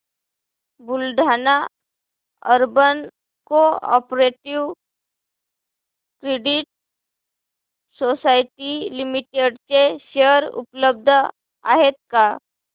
Buldhana urban cooperative credit society limited चे share उपलब्ध आहेत का